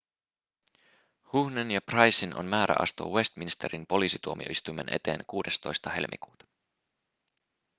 huhnen ja prycen on määrä astua westminsterin poliisituomioistuimen eteen 16 helmikuuta